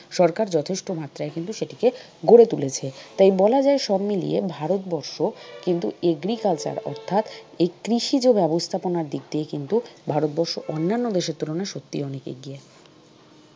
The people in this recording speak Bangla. সরকার যথেষ্ট মাত্রায় কিন্তু সেটিকে গড়ে তুলেছে। তাই বলা যায় সবমিলিয়ে ভারত বর্ষ কিন্তু agriculture অর্থাৎ এই কৃষি যে ব্যবস্থাপনার দিক দিয়ে কিন্তু ভারতবর্ষ অন্যান্য দেশের তুলনায় সত্যিই অনেক এগিয়ে।